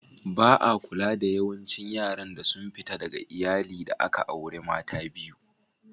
Ba'a kula da yawancin yaran da sun fita daga Iyalli da aka aure mata biyu.